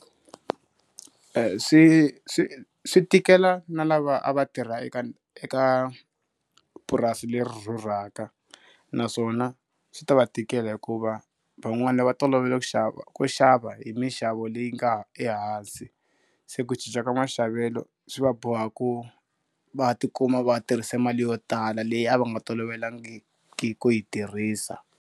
swi swi swi tikela na lava a va tirha eka eka purasi leri rhurhaka naswona, swi ta va tikela hikuva van'wana va tolovele ku xava ku xava hi minxavo leyi nga ehansi, se ku cinca ka maxavelo swi va boha ku va ti kuma va tirhise mali yo tala leyi a va nga tolovelangiki ku yi tirhisa,